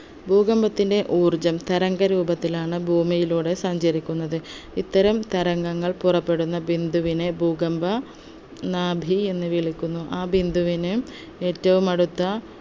ഭൂകമ്പത്തിൻെറ ഊർജ്ജം തരംഗ രൂപത്തിലാണ് ഭൂമിയിലൂടെ സഞ്ചരിക്കുന്നത് ഇത്തരം തരംഗങ്ങൾ പുറപ്പെടുന്ന ബിന്ദുവിനെ ഭൂകമ്പ നാഭി എന്ന് വിളിക്കുന്നു ആ ബിന്ദുവിനെ ഏറ്റവും അടുത്ത